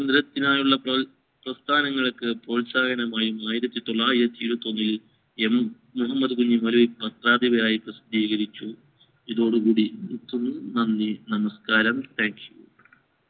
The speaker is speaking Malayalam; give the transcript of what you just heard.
സ്വാതന്ത്രത്തിനായുള്ള പ്രോത്സാഹനമായി ആയിരത്തി തൊള്ളായിരത്തി ഇരുവത്തി ഒന്നിൽ M മുഹമ്മദ് കുഞ്ഞി പത്രാധിപൻ ആയി പ്രസിദ്ധീകരിച്ചു ഇതോടു കൂടി നിർത്തുന്നു നന്ദി നമസ്‍കാരം thankyou